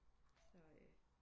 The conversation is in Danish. Så øh